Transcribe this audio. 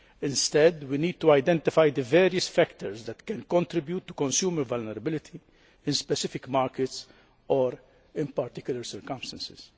Instead, we need to identify the various factors that can contribute to consumer vulnerability in specific markets or in particular circumstances.